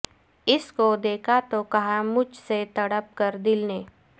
اس کو دیکھا تو کہا مجھ سے تڑپ کر دل نے